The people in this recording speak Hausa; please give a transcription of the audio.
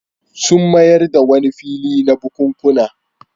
Sun mayar da wani fili na bukunkuna.